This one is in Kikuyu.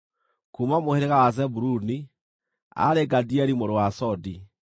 kuuma mũhĩrĩga wa Zebuluni, aarĩ Gadieli mũrũ wa Sodi;